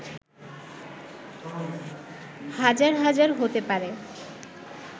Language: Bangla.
হাজার হাজার হতে পারে